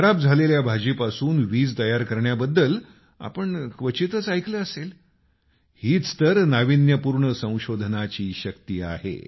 खराब झालेल्या भाजीपासून वीज तयार करण्याबद्दल आपण क्वचितच ऐकलं असेलहीच तर नाविन्यपूर्ण संशोधनाची शक्ति आहे